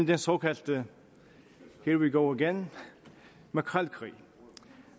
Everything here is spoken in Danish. den såkaldte here we go again makrelkrig